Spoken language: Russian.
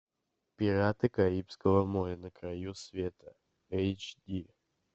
пираты карибского моря на краю света эйч ди